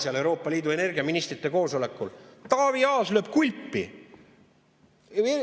Seal Euroopa Liidu energiaministrite koosolekul Taavi Aas lööb kulpi.